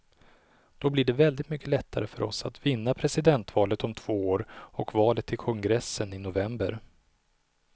Då blir det väldigt mycket lättare för oss att vinna presidentvalet om två år och valet till kongressen i november.